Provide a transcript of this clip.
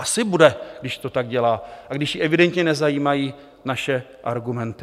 Asi bude, když to tak dělá a když ji evidentně nezajímají naše argumenty.